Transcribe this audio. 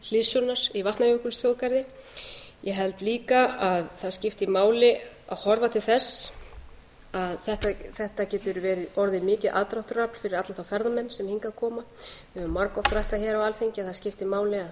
höfð til hliðsjónar í vatnajökulsþjóðgarði ég held líka að það skipti máli að horfa til þess að þetta getur orðið mikið aðdráttarafl fyrir alla þá ferðamenn sem hingað koma við höfum margoft rætt það hér á alþingi að það skipti máli að